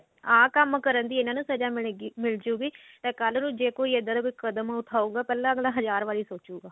ਆਹ ਕੰਮ ਕਰਨ ਦੀ ਇਹਨਾ ਨੂੰ ਸਜ਼ਾ ਮਿਲਗੀ ਮਿਲਜੁਗੀ ਤਾਂ ਕੱਲ ਨੂੰ ਜੇ ਕੋਈ ਇੱਦਾਂ ਦਾ ਕਦਮ ਪਹਿਲਾਂ ਅਗਲਾ ਹਜ਼ਾਰ ਵਾਰੀ ਸੋਚੁਗਾ